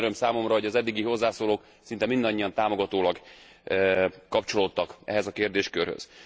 Külön öröm számomra, hogy az eddigi hozzászólók szinte mindannyian támogatóan kapcsolódtak ehhez a kérdéskörhöz.